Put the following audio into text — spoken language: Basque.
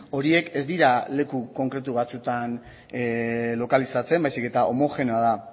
horiek ez dira leku konkretu batzutan lokalitzatzen baizik eta homogeneoa da